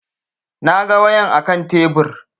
Na ga wayan a kan tebur